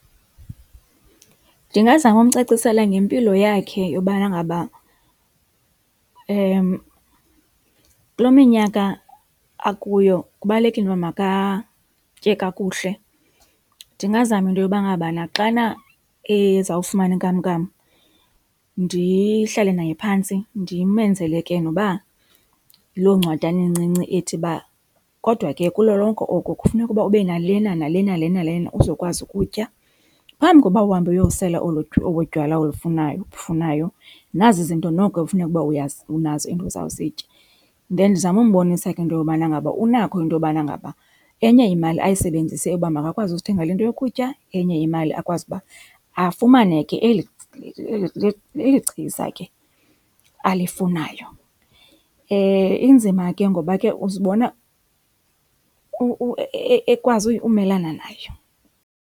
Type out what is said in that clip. Ndingazama umcacisela ngempilo yakhe yobana ngaba kule minyaka akuyo kubalulekile uba makatye kakuhle. Ndingazama into yobana ngaba xana eza kufumana inkamnkam ndihlale naye phantsi ndimenzele ke noba yiloo ncwadana incinci ethi uba kodwa ke kulo lonke oko kufuneka uba ube nalena nalena lena lena uzokwazi ukutya, phambi koba uhambe uyosela olotywala ubufunayo nazi izinto noko ekufuneke ukuba unazo and uzawuzitya. Then ndizame umbonisa ke into yobana ngaba unakho into yobana ngaba enye imali ayisebenzise uba makakwazi uzithengala into yokutya, enye imali akwazi uba afumane ke eli chiza ke alifunayo. Inzima ke ngoba ke uzibona ekwazi umelana nayo.